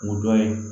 Ŋo dɔ ye